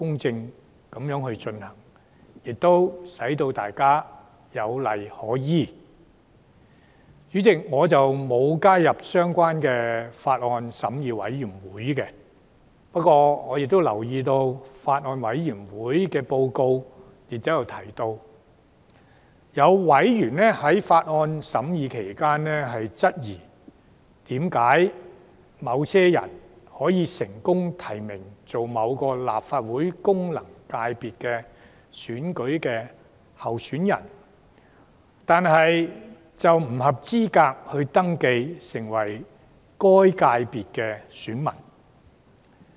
主席，我沒有加入這項《條例草案》的法案委員會，不過我留意到法案委員會的報告提到，有委員在法案審議期間，質疑為何有成功獲提名為某立法會功能界別選舉的候選人，並不符合該界別的選民資格。